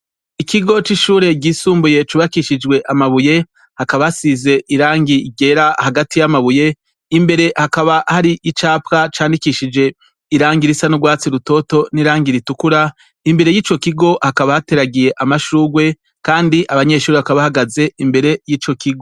Ikigo c'ishure ryisumbuye cubakishijwe amabuye. hakaba hasize irangi ryera hagati y'amabuye, imbere hakaba hari icapa candikishije irangi risa n'ugwatsi rutoto, n'irangi ritukura imbere yico kigo hakaba hateragiye amashugwe Kandi abanyeshure bakaba bahagaze imbere yico kigo.